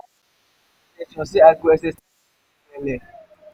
i don set in ten tion say i go exercise and eat wella.